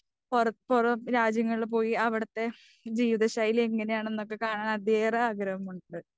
പൊറം പൊറം രാജ്യങ്ങളിൽ പോയി അവിടുത്തെ ജീവിതശൈലി എങ്ങനെ ആണന്നൊക്കെ കാണാൻ അതീവ ആഗ്രഹമുണ്ട്.